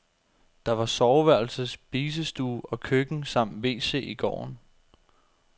Der var soveværelse, spisestue og køkken samt wc i gården.